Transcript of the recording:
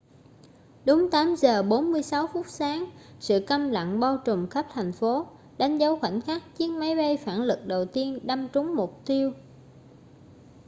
đúng 8 giờ 46 phút sáng sự câm lặng bao trùm khắp thành phố đánh dấu khoảnh khắc chiếc máy bay phản lực đầu tiên đâm trúng mục tiêu